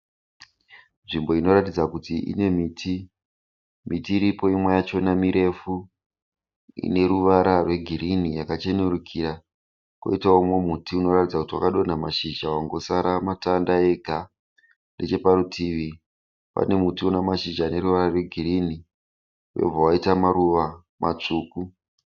Nzvimbo inoratidza kuti ine miti, miti iripo imwe yachona mirefu ine ruvara rwegirini yakachenurikira, koitawo mumwe muti unoratidza kuti wakadonha mashizha wangosara matanda ega, necheparutivi pane muti une mashizha neruvara rwegirini wobva waita maruva matsvuku.